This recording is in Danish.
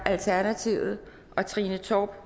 og trine torp